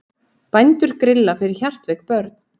Bændur grilla fyrir hjartveik börn